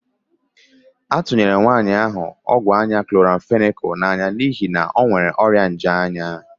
A tunyere nwaanyị ahụ ọgwụ anya kloramfenịkal n'anya n'ihi na ọ nwere ọrịa nje anya.